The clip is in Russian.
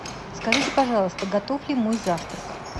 скажите пожалуйста готов ли мой завтрак